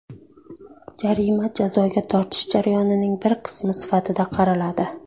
Jarima jazoga tortish jarayonining bir qismi sifatida qaraladi.